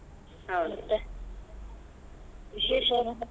ಹೌದು ಮತ್ತೆ ವಿಶೇಷ?